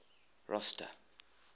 rosta